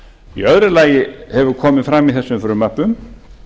í öðru lagi hefur komið fram í þessum frumvörpum